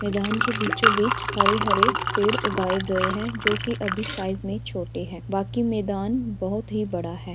मैदान के बीचों बीच हरे-हरे पेड़ उगाए गए हैं जो कि अभी साइज़ में छोटे हैं बाकी मैदान बहुत ही बड़ा है।